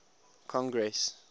congress